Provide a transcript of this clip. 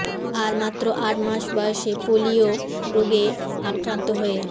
আর মাত্র আট মাস বয়সে পোলিও রোগে আক্রান্ত হয়ে